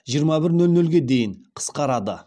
жиырма бір нөл нөлге дейін қысқарады